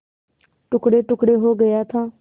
टुकड़ेटुकड़े हो गया था